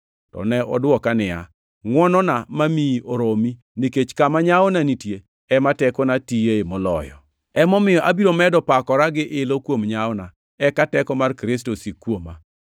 to ne odwoka niya, “Ngʼwonona mamiyi oromi, nikech kama nyawo nitie ema tekona tiyoe moloyo.” Emomiyo, abiro medo pakora gi ilo kuom nyawona, eka teko mar Kristo osik kuoma.